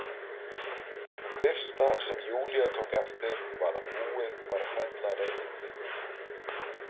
Það fyrsta sem Júlía tók eftir var að búið var að fella reynitrén.